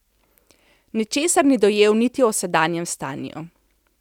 Ničesar ni dojel niti o sedanjem stanju.